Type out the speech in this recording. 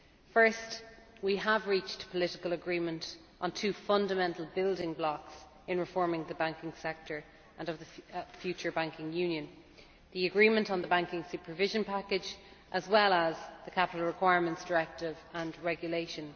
First, we have reached political agreement on two fundamental building blocks in reforming the banking sector and the future banking union the agreement on the banking supervision package as well as the Capital Requirements Directive and Regulation.